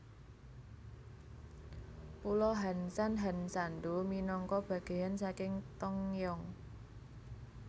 Pulo Hansan Hansando minangka bagèyan saking Tongyeong